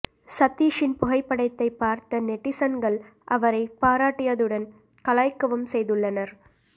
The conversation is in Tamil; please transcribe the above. சதீஷின் புகைப்படத்தை பார்த்த நெட்டிசன்கள் அவரை பாராட்டியதுடன் கலாய்க்கவும் செய்துள்ளனர்